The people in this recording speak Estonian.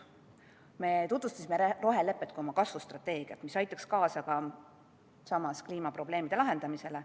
Me tutvustasime rohelepet kui oma kasvustrateegiat, mis aitaks samas kaasa kliimaprobleemide lahendamisele.